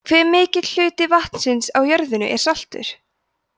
hve mikill hluti vatnsins á jörðinni er saltur